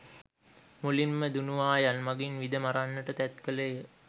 මුලින්ම, දුණුවායන් මඟින් විද මරන්නට තැත් කළේ ය.